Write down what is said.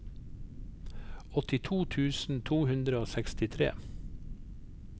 åttito tusen to hundre og sekstitre